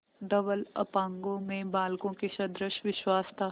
धवल अपांगों में बालकों के सदृश विश्वास था